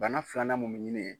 Bana filanan mun mɛ ɲini ye